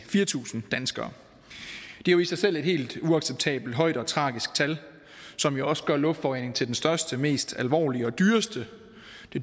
fire tusind danskere det er jo i sig selv et helt uacceptabelt højt og tragisk tal som jo også gør luftforureningen til det største og mest alvorlige og dyreste